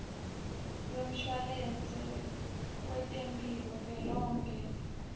lwemshwalense wetemphilo velonkhe